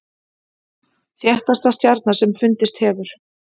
Þéttasta stjarna sem fundist hefur